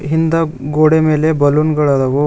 ಹಿಂದ ಗೋಡೆ ಮೇಲೆ ಬಲೂನ್ ಗಳದವು.